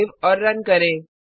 save और run करें